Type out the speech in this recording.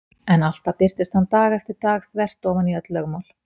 En alltaf birtist hann dag eftir dag þvert ofan í öll lögmál.